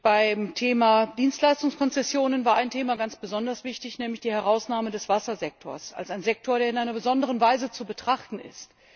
Beim Thema Dienstleistungskonzessionen war ein Thema ganz besonders wichtig, nämlich die Herausnahme des Wassersektors als ein Sektor, der in einer besonderen Weise zu betrachten ist.